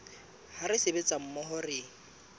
ha re sebetsa mmoho re